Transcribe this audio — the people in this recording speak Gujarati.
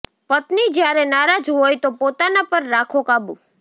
પત્ની જ્યારે નારાજ હોય તો પોતાના પર રાખો કાબૂ